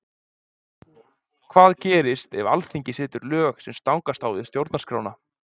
Hvað gerist ef Alþingi setur lög sem stangast á við Stjórnarskrána?